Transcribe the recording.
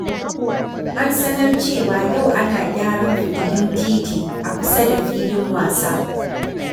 An sanar cewa yau ana gyaran fitilun titi a kusa da filin wasa.